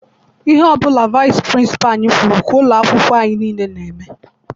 Ihe ọbụla vaịsị pịrịnsịpalụ anyị kwụrụ ka ụlọ akwụkwọ nile n'eme.